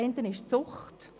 Das eine ist Zucht.